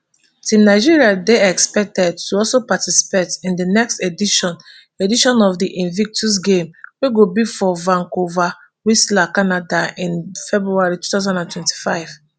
team nigeria dey expected to also participate in di next edition edition of di invictus games wey go be for vancouverwhistler canada in february two thousand and twenty-five